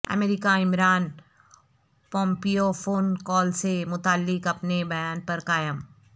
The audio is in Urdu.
امریکہ عمران پومپیو فون کال سے متعلق اپنے بیان پر قائم